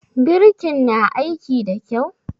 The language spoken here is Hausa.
Birikin na aiki da kyau?